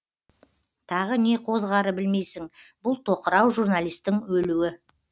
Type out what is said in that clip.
тағы не қозғары білмейсің бұл тоқырау журналистің өлуі